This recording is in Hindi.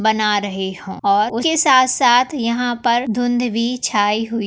बना रहे हो और उसके साथ साथ यहा पर धुंध भी छाई हुइ--